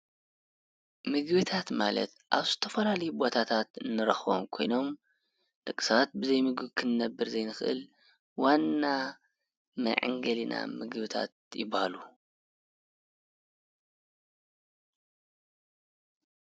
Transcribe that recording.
ምግብታት ማለት ኣብ ዝተፈላለዩ ቦታታት እንረክቦም ኮይኖም ደቂ ሰባት ብዘይ ምግቢ ክንነብር ዘይንክእል ዋና መዐንገሊና ምግብታት ይባሃሉ፡፡